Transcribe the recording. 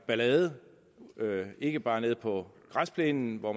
ballade ikke bare nede på græsplænen hvor